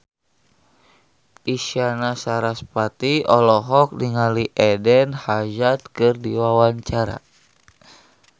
Isyana Sarasvati olohok ningali Eden Hazard keur diwawancara